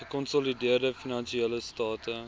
gekonsolideerde finansiële state